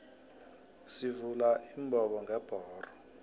sivula imbobongebhoxo